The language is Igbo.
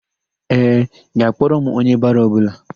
Ee, ị ga-akpọrọ m onye baro ọbụla.